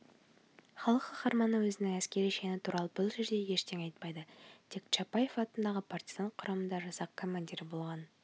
халық қаһарманы өзінің әскери шені туралы бұл жерде ештеңе айтпайды тек чапаев атындағы партизан құрамасында жасақ командирі болғанын